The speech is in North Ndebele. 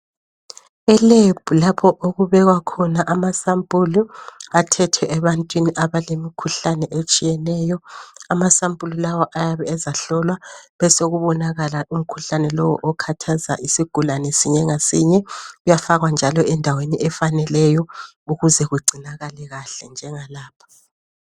Elebhu lapho okubekwa khona ama sampulu athethwe ebantwini abatshiyeneyo. Amasampulu lawa ayabe ezahlolwa besokubonakala umkhuhlane lowu okhathaza isigulane sinye ngasinye, kuyafakwa njalo endaweni efaneleyo ukuze kugcinakale kahle njengalapha.